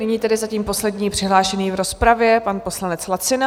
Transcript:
Nyní tedy zatím poslední přihlášený v rozpravě, pan poslanec Lacina.